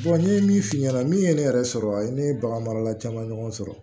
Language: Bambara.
n ye min f'i ɲɛna min ye ne yɛrɛ sɔrɔ ne ye bagan marala caman ɲɔgɔn sɔrɔ